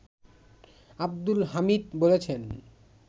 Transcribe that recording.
আব্দুল হামিদ বলেছেন